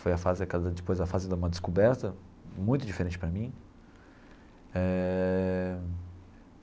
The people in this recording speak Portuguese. Foi a fase, depois a fase de uma descoberta muito diferente para mim eh.